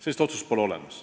Sellist otsust pole olemas.